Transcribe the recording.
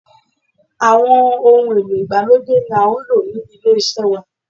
Àwọn ohun èlò ìgbàlódé ni à ń lò ní ilé iṣẹ́ wa.